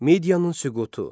Midiyanın süqutu.